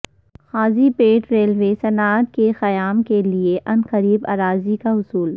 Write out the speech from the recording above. قاضی پیٹ railway صنعت کے قیام کیلئے عنقریب اراضی کا حصول